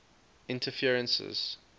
interferences